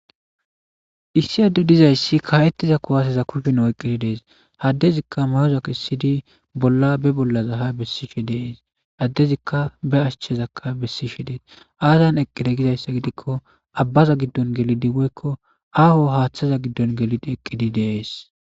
Issi addu dizayssi kaa'ettiza kuwaseza kufin oyqqidi dees haddezikka mayoza kessidi bolla be bollaza ha bessishe dees addezikka be ashchezakka bessishe dees aazan eqqide gizayssa gidikko abbaza giddon gelidi woykko aaho haaththaza giddon gelidi eqqidi dees.